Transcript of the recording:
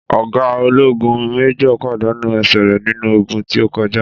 Ọ̀ga ológun (Májòr) pàdánù ẹsẹ̀ rè nínú ogun tí o kọjá